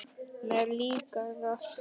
Mér líkar það.